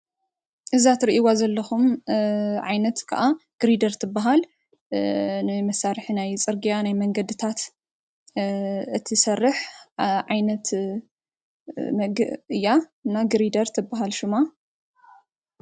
እዛ ትርእይዋ ዘለኹም ዓይነት ከኣ ግሪደር ትብሃል:: ናይ መሳርሒ ናይ ፅርግያ ናይ መንገድታት እትሰርሕ ዓይነት እያ እና ግሪደር ትበሃል ሹማ።